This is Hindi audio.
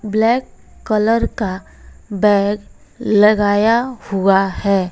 ब्लैक कलर का बैग लगाया हुआ है।